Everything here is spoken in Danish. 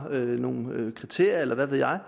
nogle kriterier eller hvad ved jeg